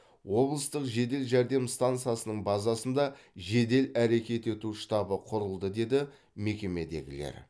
облыстық жедел жәрдем стансасының базасында жедел әрекет ету штабы құрылды деді мекемедегілер